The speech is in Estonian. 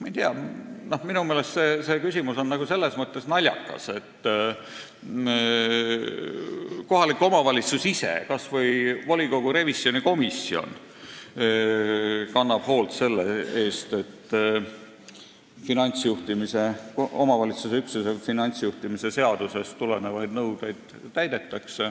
Ma ei tea, minu meelest on see küsimus selles mõttes naljakas, et kohalik omavalitsus ise, kas või volikogu revisjonikomisjon, kannab hoolt selle eest, et omavalitsusüksuse finantsjuhtimise seadusest tulenevaid nõudeid täidetaks.